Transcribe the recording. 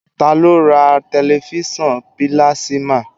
Taa ló ra tẹ̀lifísàn pílásímà?